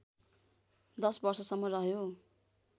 १० वर्षसम्म रह्यो